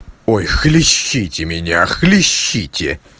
ой хлещите меня хлещите